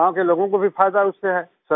और गाँव के लोगों को भी फायदा उससे है